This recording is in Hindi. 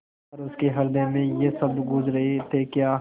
पर उसके हृदय में ये शब्द गूँज रहे थेक्या